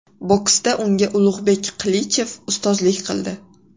Boksda unga Ulug‘bek Qilichev ustozlik qildi.